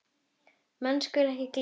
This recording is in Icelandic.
Menn skulu ekki gleyma því.